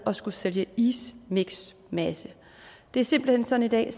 at skulle sælge ismiksmasse det er simpelt hen sådan i dag